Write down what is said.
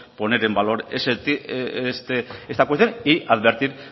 poner en valor esta cuestión y advertir